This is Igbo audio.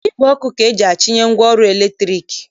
Igwe ọkụ ka eji achịnye ngwaọrụ latriki